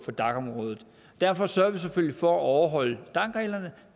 til dac området derfor sørger vi selvfølgelig for at overholde dac reglerne